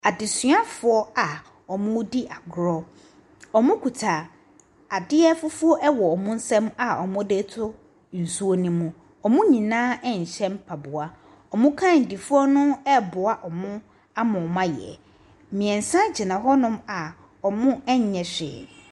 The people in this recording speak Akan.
Adesuafoɔ a ɔmɔ di agorɔ ɔmɔ kuta adeɛ fufoɔ wɔ ɔmɔ nsam a ɔmɔ de to nsuo no mu ɔmɔ nyinaa nhyɛ mpaboa ɔmɔ kandifoɔ ɛboa ɔmɔ ama ɔmɔ ayɛ mmiɛnsa gyina wɔ a ɔmɔ nyɛ hwɛ.